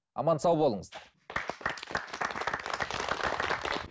аман сау болыңыздар